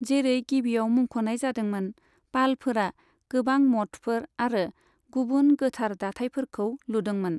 जेरै गिबियाव मुंख'नाय जादोंमोन, पालफोरा गोबां मठफोर आरो गुबुन गोथार दाथायफोरखौ लुदोंमोन।